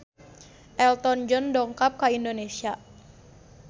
Elton John dongkap ka Indonesia